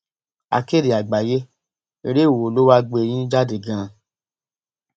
akéde àgbáyé eré wo lo wáá gbé yín jáde ganan